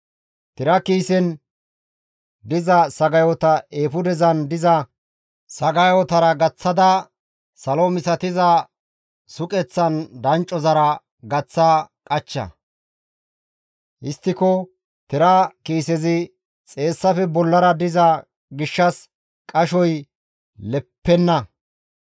Tira kiisen diza sagayota eefudezan diza sagayotara gaththidi salo misatiza suqeththan danccozara gaththa qachcha; histtiko tira kiisezi xeessafe bollara diza gishshas qashoy leppenna.